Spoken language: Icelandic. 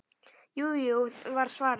Jú, jú var svarið.